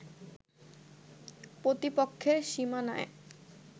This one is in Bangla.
প্রতিপক্ষের সীমানায়